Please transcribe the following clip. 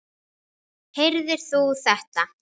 Heyrðir þú þetta?